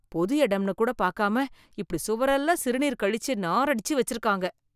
பொது இடம் என்று கூட பாக்காம இப்படி சுவர் எல்லாம் சிறுநீர் கழிச்சி நாரடிச்சு வச்சிருக்காங்க